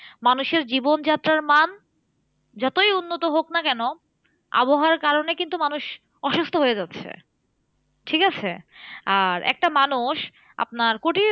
মানুষের জীবনযাত্রার মান যতই উন্নত হোক না কেন, আবহাওয়ার কারণে কিন্তু মানুষ অসুস্থ হয়ে যাচ্ছে। ঠিকাছে? আর একটা মানুষ আপনার